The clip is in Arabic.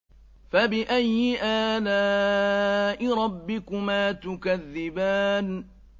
فَبِأَيِّ آلَاءِ رَبِّكُمَا تُكَذِّبَانِ